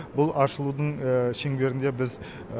бұл ашылудың шеңберінде біз